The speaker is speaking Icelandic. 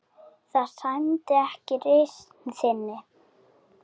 Það sæmdi ekki reisn þinni.